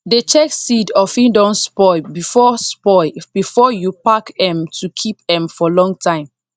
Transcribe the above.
dey check seed of e don spoil before spoil before you pack m to keep m for long time